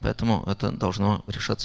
поэтому это должно решаться